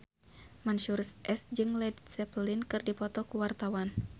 Mansyur S jeung Led Zeppelin keur dipoto ku wartawan